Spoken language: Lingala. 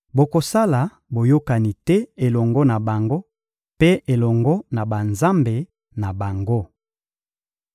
Bokosala boyokani te elongo na bango mpe elongo na banzambe na bango.